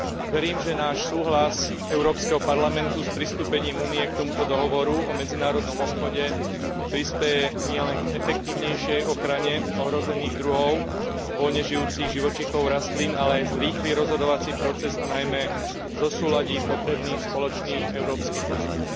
Verím, že náš súhlas Európskeho parlamentu s pristúpením Únie k tomuto dohovoru o medzinárodnom obchode prispeje nielen k efektívnejšej ochrane ohrozených druhov voľne žijúcich živočíchov a rastlín, ale aj zrýchli rozhodovací proces a najmä zosúladí potrebný spoločný európsky postup.